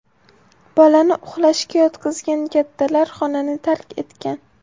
Bolani uxlashga yotqizgan kattalar xonani tark etgan.